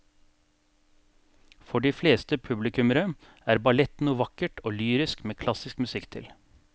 For de fleste publikummere er ballett noe vakkert og lyrisk med klassisk musikk til.